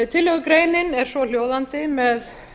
tillögugreinin er svohljóðandi með